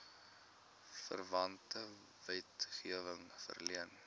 verwante wetgewing verleen